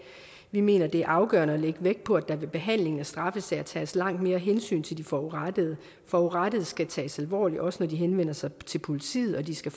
vi mener det er afgørende at lægge vægt på at der ved behandlingen af straffesager tages langt mere hensyn til de forurettede forurettede skal tages alvorligt også når de henvender sig til politiet de skal